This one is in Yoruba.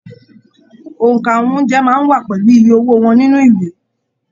óńka àwọn oúnjẹ máa n wà pẹlú ìyè owó wọn nínú ìwé.